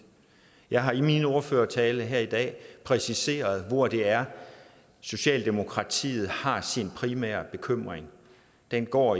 jeg har i min ordførertale her i dag præciseret hvor det er socialdemokratiet har sin primære bekymring den går